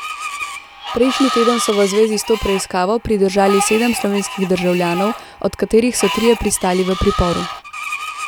Prejšnji teden so v zvezi s to preiskavo pridržali sedem slovenskih državljanov, od katerih so trije pristali v priporu.